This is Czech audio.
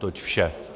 Toť vše.